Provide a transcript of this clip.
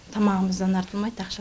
тамығымыздан артылмайды ақша